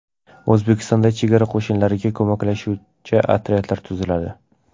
O‘zbekistonda chegara qo‘shinlariga ko‘maklashuvchi otryadlar tuziladi.